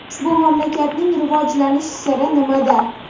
Ushbu mamlakatning rivojlanish siri nimada?.